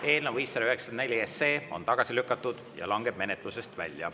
Eelnõu 594 on tagasi lükatud ja langeb menetlusest välja.